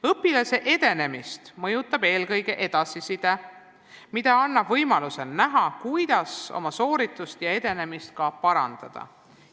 Õpilase edenemist mõjutab eelkõige edasiside, mis annab võimaluse näha, kuidas oma sooritust ja edenemist ka parandada.